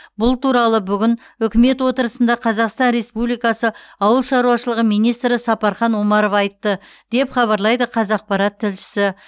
бұл туралы бүгін үкімет отырысында қазақстан республикасы ауыл шаруашылығы министрі сапархан омаров айтты деп хабарлайды қазақпарат тілшісі